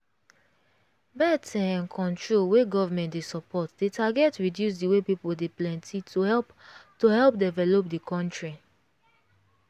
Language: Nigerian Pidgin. birth um control wey government dey support dey target reduce the way people dey plenty to help to help develop di country.